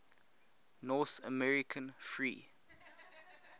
north american free